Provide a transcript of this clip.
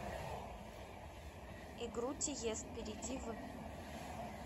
игру тиест перейди в